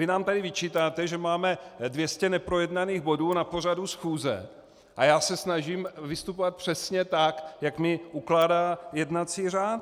Vy nám tady vyčítáte, že máme 200 neprojednaných bodů na pořadu schůze, a já se snažím vystupovat přesně tak, jak mi ukládá jednací řád.